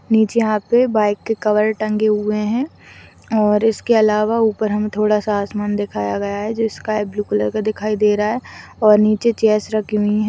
नीचे यहाँ पे बाइक के कवर टंगे हुए है और इसके अलावा ऊपर हम थोड़ा- सा आसमान दिखाया गया है जो स्काई ब्लू कलर का दिखाया गया है और नीचे चेयर्स रखी हुई हैं।